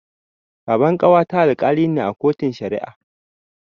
Baban ƙawata Alkali ne a kotun Shari'a.